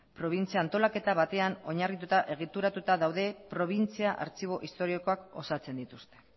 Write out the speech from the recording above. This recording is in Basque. probintzia antolaketa batean oinarrituta egituratuta daude probintzia artxibo historikoak osatzen dituzte